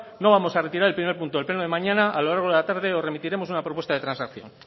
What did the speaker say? no vamos a retirar el primer punto del pleno de mañana a lo largo de la tarde os remitiremos una propuesta de transacción